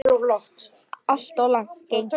Alltof langt gengið.